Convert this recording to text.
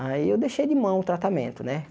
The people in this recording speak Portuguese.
Aí eu deixei de mão o tratamento, né?